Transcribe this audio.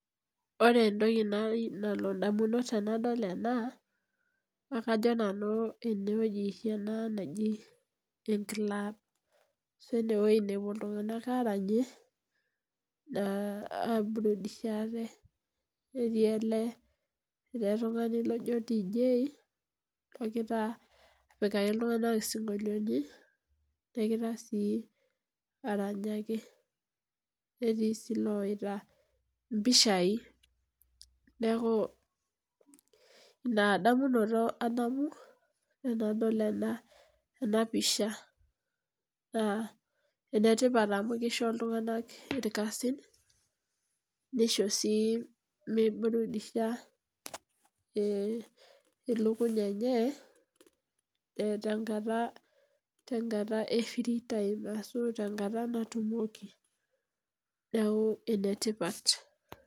Ore entoki nalotu indamunot tenadol ena naa kajo nanu enewueji naji oshi enclub ashu enewueji nepuo iltunganak aranyie aibuudishaa ate , netii ele , ele tungani loji dj negira apikaki iltunganak isinkoliotin , negira sii aranyaki , netii sii iloita impishai . Niaku inadamunoto adamu tenadol ena enapisha naa enetipat amu kisho iltunganak irkasin nisho sii miburudisha ilukuny enye, tenkata , tenkata efree time ashu tenkata natumoki neku enetipat.